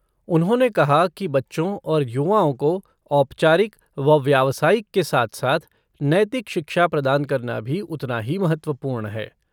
उन्होंने कहा कि बच्चों और युवाओं को औपचारिक व व्यावसायिक के साथ साथ नैतिक शिक्षा प्रदान करना भी उतना ही महत्वपूर्ण है।